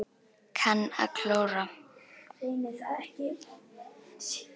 Kann að klóra.